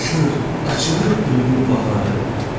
Danışır, açılır ömrüm baharı.